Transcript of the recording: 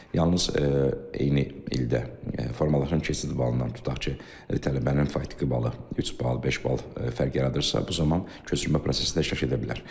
Yalnız eyni ildə formalaşan keçid balından, tutaq ki, tələbənin faktiki balı üç bal, beş bal fərq yaradırsa, bu zaman köçürülmə prosesində iştirak edə bilər.